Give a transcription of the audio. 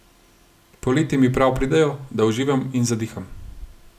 Poleti mi prav pridejo, da uživam in zadiham.